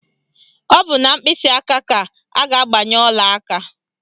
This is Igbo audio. Ọ bụ na mkpịsịaka ka a ga-agbanye ọlaaka